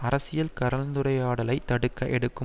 அரசியல் கலந்துரையாடலை தடுக்க எடுக்கும்